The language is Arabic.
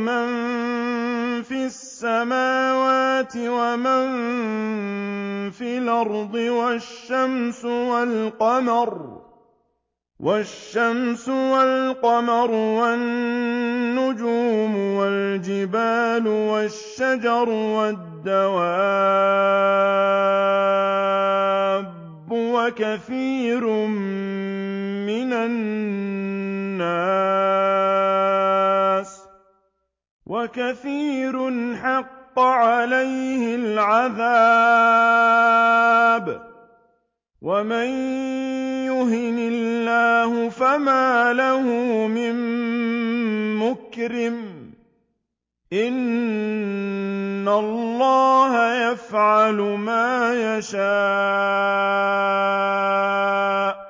مَن فِي السَّمَاوَاتِ وَمَن فِي الْأَرْضِ وَالشَّمْسُ وَالْقَمَرُ وَالنُّجُومُ وَالْجِبَالُ وَالشَّجَرُ وَالدَّوَابُّ وَكَثِيرٌ مِّنَ النَّاسِ ۖ وَكَثِيرٌ حَقَّ عَلَيْهِ الْعَذَابُ ۗ وَمَن يُهِنِ اللَّهُ فَمَا لَهُ مِن مُّكْرِمٍ ۚ إِنَّ اللَّهَ يَفْعَلُ مَا يَشَاءُ ۩